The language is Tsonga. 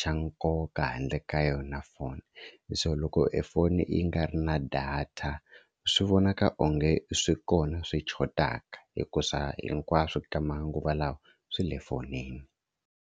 xa nkoka handle ka yona phone so loko e foni yi nga ri na data swi vonaka onge swi kona swi xotaka hikuza hinkwaswo ka manguva lawa swi le fonini.